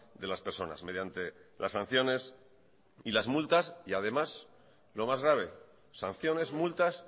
de las personas mediante las sanciones y las multas y además lo más grave sanciones multas